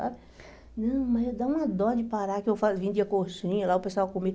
sabe? Não, mas dá uma dó de parar que eu fa vendia coxinha, lá o pessoal comia.